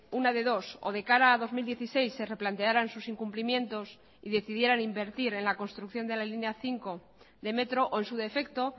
una de dos o de cara a dos mil dieciséis se replantearan sus incumplimientos y decidieran invertir en la construcción de la línea cinco de metro o en su defecto